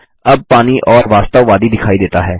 अब पानी और वास्तववादी दिखाई देता है